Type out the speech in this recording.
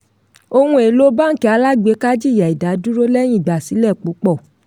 ohun èlò báńkì alágbèéká jìyà ìdádúró lẹ́yìn ìgbàsílẹ̀ púpọ̀.